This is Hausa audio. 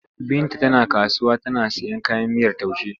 Binta tana kasuwa tana sayan kayan miyar taushe.